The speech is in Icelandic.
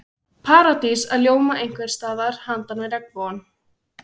Paradís að ljóma einhvers staðar handan við regnbogann.